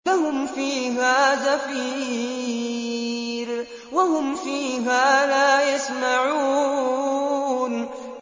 لَهُمْ فِيهَا زَفِيرٌ وَهُمْ فِيهَا لَا يَسْمَعُونَ